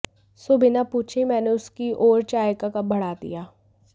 सो बिना पूछे ही मैंने उसकी ओर चाय का कप बढ़ा दिया